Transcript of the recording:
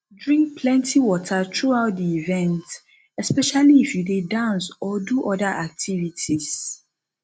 drink plenty water throughout di event especially if you dey dance or do oda activities